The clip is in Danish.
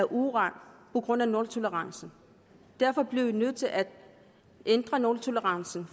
uran på grund af nultolerancen derfor bliver vi nødt til at ændre nultolerancen